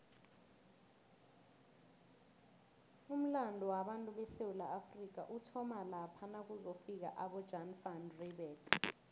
umulando wabatu besewula afrika uthoma lapha nakuzofika abojan van reebeck